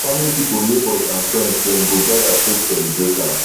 family pipol neibours and friends dem go gather take celebrate am